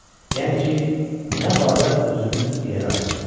Yəni ki, nə badə özünü irəli atasan.